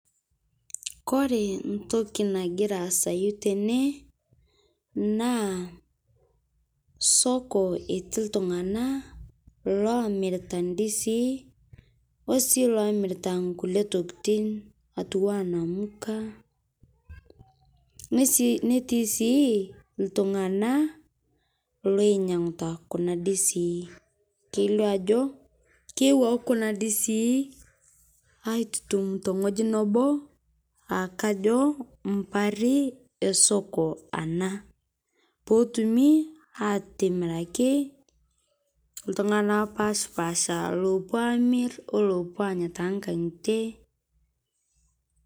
Kore ntoki nagira aasayu tene naa soko etii ltung'ana omiritaa ndizii osii lomiritaa nkulie tokitin atuwaa namukaa netii sii ltung'ana loinyeng'uta kuna dizii keilio ajo keewaki kuna dizii aitutum tengoji noboo aakajo mpari esoko anaa pootumi atimiraki ltung'ana epashpaasha lopuo amir olopuo anya tankang'itee.